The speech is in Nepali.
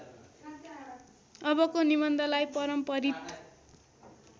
अबको निबन्धलाई परम्परित